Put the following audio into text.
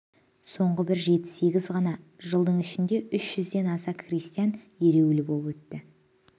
соңғы бір жеті-сегіз ғана жылдың ішінде үш жүзден аса крестьян ереуілі боп өтті